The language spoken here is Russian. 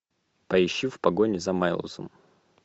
поищи в погоне за майлзом